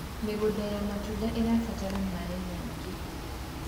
mĩgũnda ya matunda irabatara maĩ maĩngi